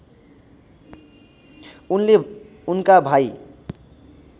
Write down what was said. उनले उनका भाइ